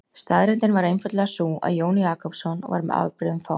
Staðreyndin var einfaldlega sú að Jón Jakobsson var með afbrigðum fámáll.